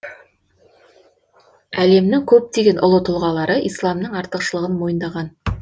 әлемнің көптен ұлы тұлғалары исламның артықшылығын мойындаған